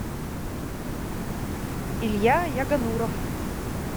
илья ягонуров